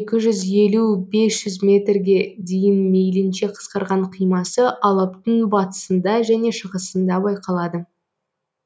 екі жүз елу бес жүз метрге дейін мейілінше қысқарған қимасы алаптың батысында және шығысында байқалады